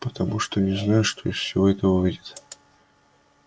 потому что не знаю что из всего этого выйдет